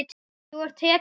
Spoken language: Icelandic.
Þú ert hetjan okkar.